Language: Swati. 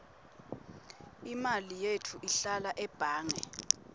imali yetfu ihlala ebhange